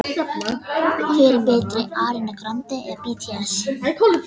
Auk handritanna átti hann forkunnargott safn prentaðra bóka.